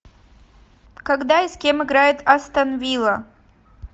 когда и с кем играет астон вилла